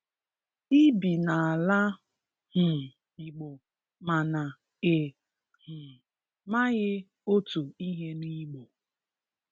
I bi n'ala um Igbo mana ị um maghị otu ihe n'Igbo